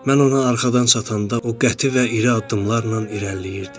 Mən ona arxadan çatanda, o qəti və iri addımlarla irəliləyirdi.